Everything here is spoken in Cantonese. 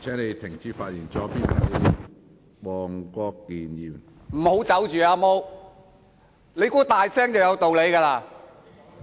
先不要離開，"阿毛"，你以為大聲便有道理嗎？